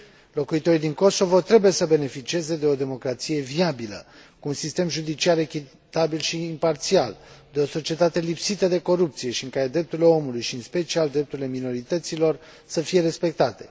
Locuitorii din Kosovo trebuie să beneficieze de o democrație viabilă, cu un sistem judiciar echitabil și imparțial, de o societate lipsită de corupție și în care drepturile omului și, în special, drepturile minorităților să fie respectate.